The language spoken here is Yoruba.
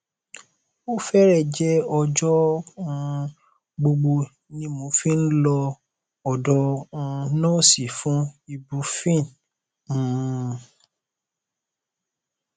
ó fẹrẹẹ jẹ ọjọ um gbogbo ni mo fi ń lọ ọdọ um nọọsì fún ibuprofen um